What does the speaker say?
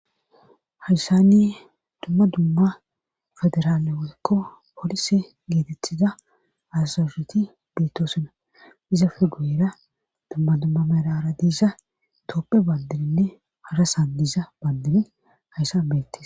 hayssani dumma dumma federaale woykko poolise geetethiza azajeti beettosona izafe guyera dumma dumma meraara diiza dooppe bandininne harasan diiza bandiray hayssan bettes